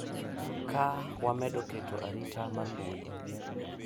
Ka wamedo keto arita mar mbui